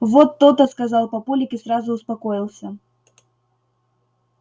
вот то-то сказал папулик и сразу успокоился